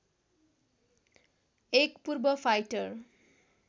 एक पूर्व फाइटर